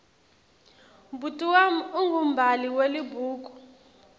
bhuti wami ungumbhali welibhuku